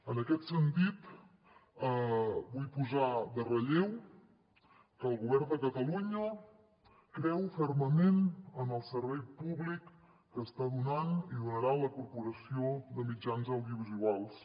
en aquest sentit vull posar en relleu que el govern de catalunya creu fermament en el servei públic que està donant i donarà la corporació de mitjans audiovisuals